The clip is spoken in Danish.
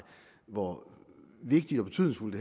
hvor vigtigt og betydningsfuldt